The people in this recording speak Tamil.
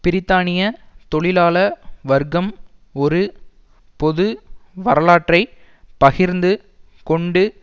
பிரித்தானிய தொழிலாள வர்க்கம் ஒரு பொது வரலாற்றை பகிர்ந்து கொண்டு